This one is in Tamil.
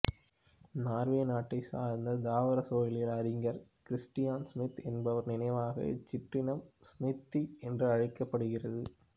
நார்வே நாட்டை சார்ந்த தாவர சூழலியல் அறிஞர் கிறிஸ்டியன் சுமித் என்பவர் நினைவாக இச்சிற்றினம் சுமித்தீ என்றழைக்கப்படுகிறது